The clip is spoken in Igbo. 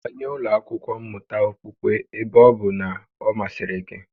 Banye ụlọ akwụkwo mmụta okpukpe ebe ọ bụ na ọ masịrị gị